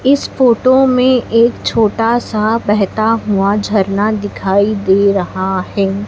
इस फोटो में एक छोटा सा बहता हुआ झरना दिखाई दे रहा है।